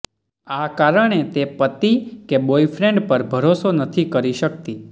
આ કારણે તે પતિ કે બોયફ્રેન્ડ પર ભરોસો નથી કરી શકતી